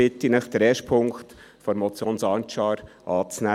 Deshalb bitte ich Sie, den ersten Punkt der Motion Sancar anzunehmen.